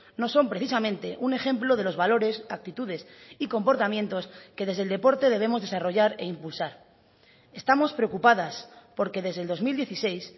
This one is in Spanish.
no son precisamente un ejemplo de los valores actitudes y comportamientos que desde el deporte debemos desarrollar e impulsar estamos preocupadas porque desde el dos mil dieciséis